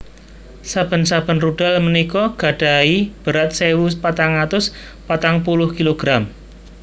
Saben saben rudal punika gadahi berat sewu patang atus patang puluh kilogram